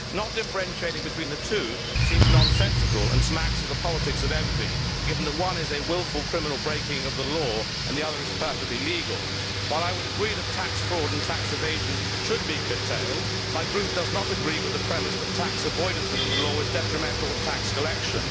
Not differentiating between the two seems nonsensical and smacks of the politics of envy, given that one is a wilful criminal breaking of the law and the other is perfectly legal. While I would agree that tax fraud and tax evasion should be curtailed, my group does not agree with the premise that tax avoidance within the law is detrimental to tax collection.